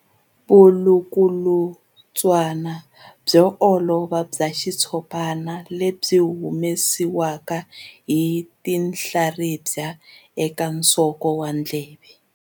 Vulukulutswana byo olova bya xitshopana lebyi byi humesiwaka hi tinhlaribya eka nsoko wa ndleve.